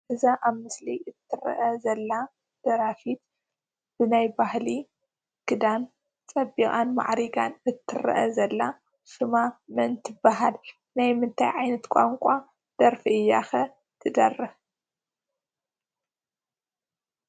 እዛ አብ ምስሊ እትርአ ዘላ ደራፊት ብናይ ባህሊ ክዳን ፀቢቃን ማዕሪጋን እትርአ ዘላ ሹማ መን ትበሃል? ናይ ምንታይ ዓይነት ቋንቋ ደርፊ እያ ኸ ትደርፍ?